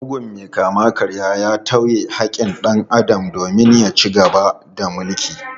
Mugun mai kama-karyan ya tauye haƙƙin dan Adam domin ya ci gaba da mulki.